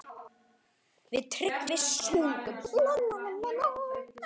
Við Tryggvi sungum